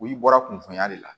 O bɔra kunfoya de la